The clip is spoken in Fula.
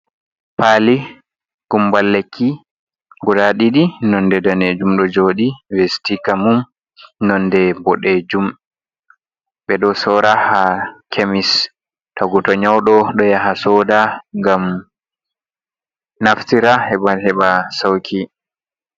Palii gumbal lekki guda ɗiɗi nga ɗo jooɗi nonde danejum ɗo joɗi be sitika mum nonde ɓoɗejum ɓeɗo sora ha kemis tagu to nyauɗo ɗum ɗo yaha soda ngam naftira heɓa heɓa sauki.